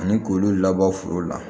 Ani k'olu labɔ foro la